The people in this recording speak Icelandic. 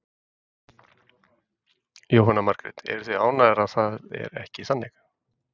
Jóhanna Margrét: Eruð þið ánægðar að það er ekki þannig?